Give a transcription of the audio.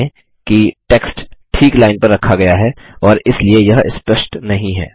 ध्यान दें कि टेक्स्ट ठीक लाइन पर रखा गया है और इसलिए यह स्पष्ट नहीं है